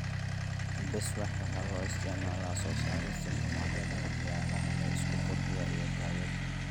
Beeswax waxaa loo isticmaalaa soo saarista shumacyada, waxyaalaha la isku qurxiyo, iyo daawada.